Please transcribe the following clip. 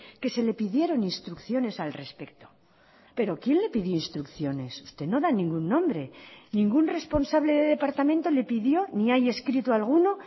que se le pidieron instrucciones al respecto pero quién le pidió instrucciones usted no da ningún nombre ningún responsable de departamento le pidió ni hay escrito alguno